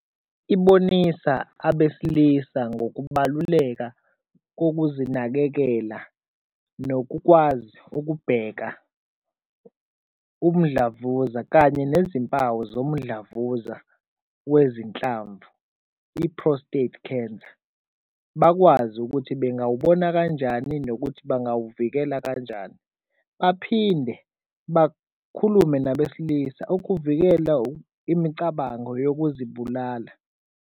Ibonisa abesilisa ngokubaluleka kokuzinakekela nokukwazi ukubheka umdlavuza kanye nezimpawu zomdlavuza wezinhlamvu i-prostate cancer. Bakwazi ukuthi bengawubona kanjani nokuthi bangawuvikela kanjani. Baphinde bakhulume nabesilisa ukuvikela imicabango yokuzibulala.